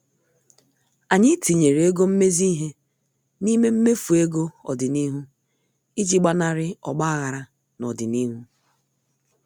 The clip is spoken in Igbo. Anyị tinyere ego mmezi ihe n' ime mmefu ego ọdịnihu iji gbanari ogbaghara n' ọdịnihu.